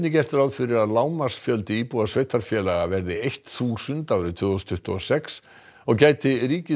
gert ráð fyrir að lágmarksfjöldi íbúa sveitarfélaga verði þúsund árið tvö þúsund tuttugu og sex og gæti ríkið